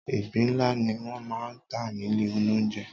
Ìgbín ńlá ni wọ́n máa ń tà nílé olóunjẹ.